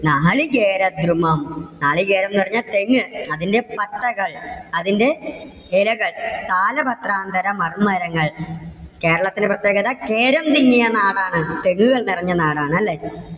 നാളികേരദ്രുമം നാളികേരം എന്ന് പറഞ്ഞാൽ തെങ്ങ്. അതിന്റെ പട്ടകൾ അതിന്റെ ഇലകൾ, താലപത്രാന്തരമർമരങ്ങൾ. കേരളത്തിന്റെ പ്രത്യേകത കേരം തിങ്ങിയ നാടാണ്. തെങ്ങുകൾ നിറഞ്ഞ നാടാണ് അല്ലെ.